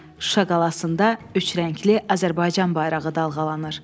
Şuşa qalasında üçrəngli Azərbaycan bayrağı dalğalanır.